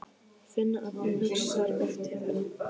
Finna að hún hugsar oft til þeirra.